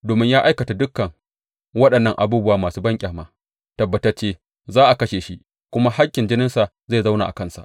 Domin ya aikata dukan waɗannan abubuwa masu banƙyama, tabbatacce za a kashe shi, kuma hakkin jininsa zai zauna a kansa.